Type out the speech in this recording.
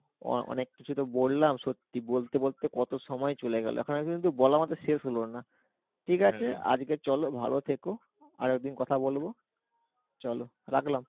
অনেক কিছু তো বললাম সত্যি বলতে কথা সময় চলে গেলো এখনো আর কিন্তু বলার মতো শেষ হলো না ঠিক আছে আজকে চলো ভালো থেকো আর একদিন কথা বলবো চলো রাখলাম।